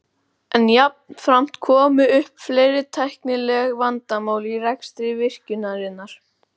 En jafnframt komu upp fleiri tæknileg vandamál í rekstri virkjunarinnar.